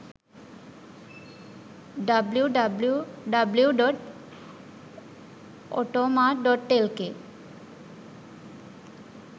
www.automart.lk